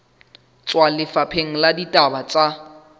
tswa lefapheng la ditaba tsa